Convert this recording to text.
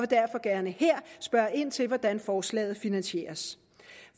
derfor gerne her spørge ind til hvordan forslaget finansieres